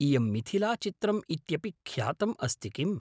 इयं मिथिलाचित्रम् इत्यपि ख्यातम् अस्ति किम्?